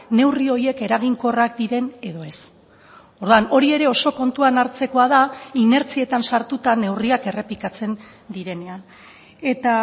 neurri horiek eraginkorrak diren edo ez orduan hori ere oso kontuan hartzekoa da inertzietan sartuta neurriak errepikatzen direnean eta